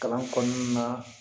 Kalan kɔnɔna na